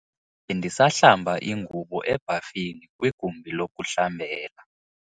Bendisahlamba ingubo ebhafini kwigumbi lokuhlambela.